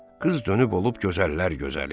Qız dönüb olub gözəllər gözəli.